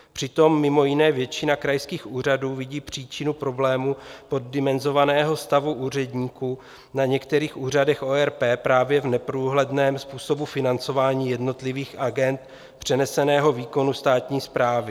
Přitom mimo jiné většina krajských úřadů vidí příčinu problému poddimenzovaného stavu úředníků na některých úřadech ORP právě v neprůhledném způsobu financování jednotlivých agend přeneseného výkonu státní správy.